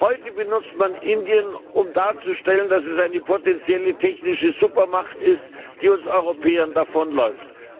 Heute benutzt man Indien, um darzustellen, dass es eine potentielle technische Supermacht ist, die uns Europäern davonläuft.